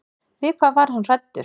Við hvað var hann hræddur?